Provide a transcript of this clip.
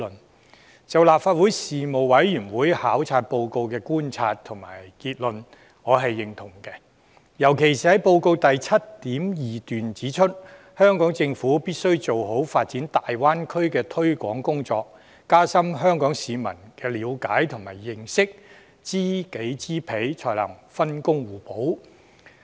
我認同立法會事務委員會考察報告的觀察和總結，尤其是報告的第 7.2 段："香港政府必須做好發展大灣區的推廣工作，加深香港市民的了解和認識，知己知彼，才可分工互補。